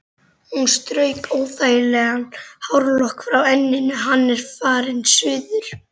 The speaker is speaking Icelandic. Hún strauk óþægan hárlokk frá enninu: Hann er farinn suður